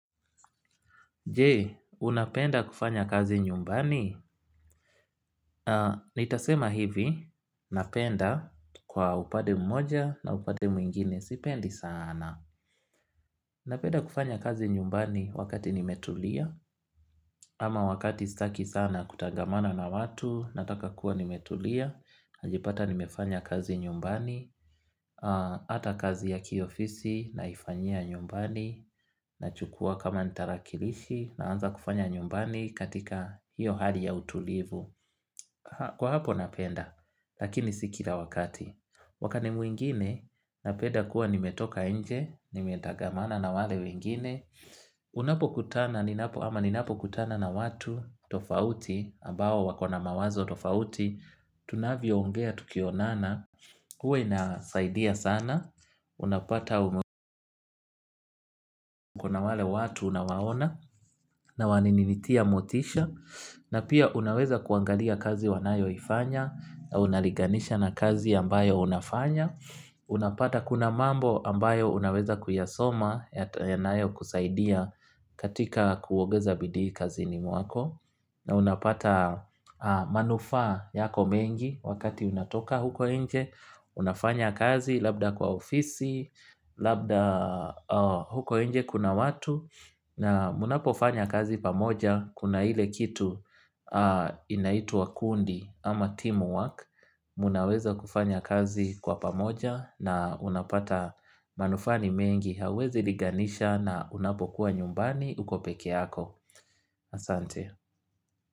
Je unapenda kufanya kazi nyumbani? Nitasema hivi, napenda kwa upande mmoja na upande mwingine, sipendi sana. Napenda kufanya kazi nyumbani wakati nimetulia, ama wakati sitaki sana kutangamana na watu, nataka kuwa nimetulia. Najipata nimefanya kazi nyumbani, ata kazi ya kiofisi, naifanyia nyumbani, na chukua kama ni tarakilishi na anza kufanya nyumbani katika hiyo hali ya utulivu kwa hapo napenda, lakini sikila wakati wakati mwingine napenda kuwa nimetoka inje, nimetangamana na wale wengine unapo kutana ninapo ama ninapo kutana na watu, tofauti, ambao wakona mawazo tofauti tunavyo ongea tukionana, huwa inasaidia sana unapata wale watu unawaona na waninitia motisha na pia unaweza kuangalia kazi wanayo ifanya na unalinganisha na kazi ambayo unafanya unapata kuna mambo ambayo unaweza kuyasoma yata yanayo kusaidia katika kuongeza bidii kazini mwako na unapata manufaa yako mengi wakati unatoka huko inje unafanya kazi labda kwa ofisi labda huko inje kuna watu na mnapofanya kazi pamoja kuna ile kitu inaituwa kundi ama teamwork. Mnaweza kufanya kazi kwa pamoja na unapata manufaa ni mengi hauwezi linganisha na unapokuwa nyumbani uko peke yako asante.